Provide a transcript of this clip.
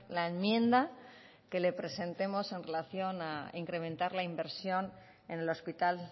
la enmienda que le presentemos en relación a incrementar la inversión en el hospital